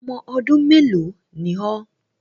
Ọmọ ọdún mélòó ni ọ́.?